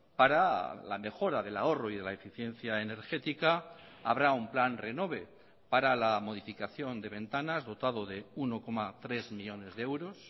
para la mejora del ahorro y de la eficiencia energética habrá un plan renove para la modificación de ventanas dotado de uno coma tres millónes de euros